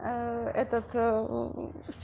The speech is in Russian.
этот с